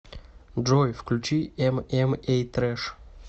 джой включи эм эм эй трэш